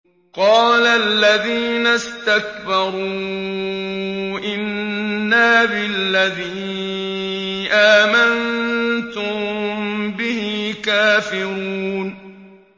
قَالَ الَّذِينَ اسْتَكْبَرُوا إِنَّا بِالَّذِي آمَنتُم بِهِ كَافِرُونَ